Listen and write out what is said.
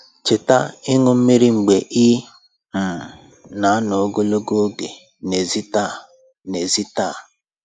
Cheta ịṅu mmiri mgbe ị um na-anọ ogologo oge n'èzí taa n'èzí taa